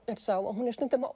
er sá að hún er stundum að